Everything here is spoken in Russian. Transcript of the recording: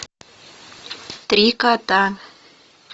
три кота